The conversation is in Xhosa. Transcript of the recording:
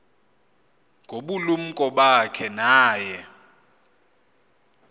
ngobulumko bakhe naye